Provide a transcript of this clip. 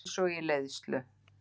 Einsog í leiðslu.